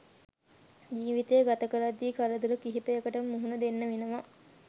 ජීවිතය ගතකරද්දි කරදර කීපයකටම මුහුණ දෙන්න වෙනවා